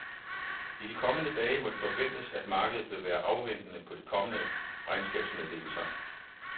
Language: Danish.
I de kommende dage må det forventes, at markedet vil være afventende på de kommende regnskabsmeddelelser.